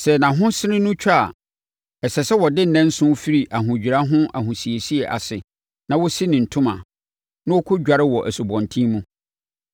“ ‘Sɛ nʼahosene no twa a, ɛsɛ sɛ ɔde nnanson firi ahodwira ho ahosiesie ase na ɔsi ne ntoma na ɔkɔdware wɔ asubɔnten mu.